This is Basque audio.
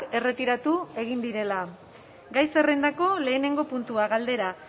erretiratu egin direla gai zerrendako lehenengo puntua galdera